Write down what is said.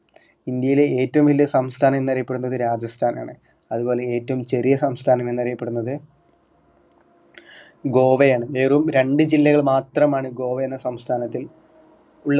ഇന്ത്യയിലെ ഏറ്റവും വലിയ സംസ്ഥാനം എന്ന് അറിയപ്പെടുന്നത് രാജസ്ഥാൻ ആണ് അതുപോലെ ഏറ്റവും ചെറിയ സംസ്ഥാനം എന്നറിയപ്പെടുന്നത് ഗോവയാണ് വെറും രണ്ട് ജില്ലകൾ മാത്രമാണ് ഗോവ എന്ന സംസ്ഥാനത്തിൽ ഉള്ളത്